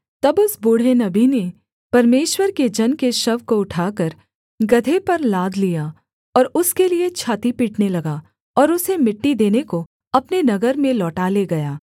तब उस बूढ़े नबी ने परमेश्वर के जन के शव को उठाकर गदहे पर लाद लिया और उसके लिये छाती पीटने लगा और उसे मिट्टी देने को अपने नगर में लौटा ले गया